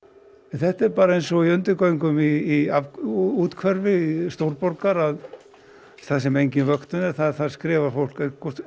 þetta er bara eins og í undirgöngum í úthverfi stórborgar þar sem engin vöktun er skrifar fólk